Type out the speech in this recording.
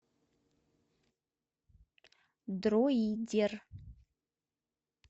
друидер